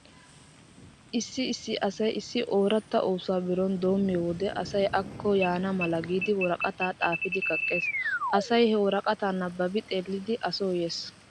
Issi issi asay issi ooratta oosuwa birooni doommiyo wode asay akko yaana mala giidi woraqataa xaafidi kaqqees. Asay he woraqataa nabbabi xeelidi a so yees.